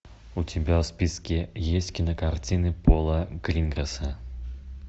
у тебя в списке есть кинокартины пола гринграсса